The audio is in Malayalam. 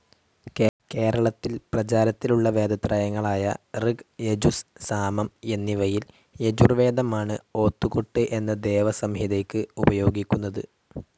കേരളത്തിൽ പ്രചാരത്തിലുള്ള വേദത്രയങ്ങളായ ഋഗ്‌, യജുസ്‌, സാമം എന്നിവയിൽ യജുർവേദമാണ്‌ ഓത്ത്കൊട്ട്‌ എന്ന വേദസംഹിതയ്ക്ക്‌ ഉപയോഗിക്കുന്നത്‌.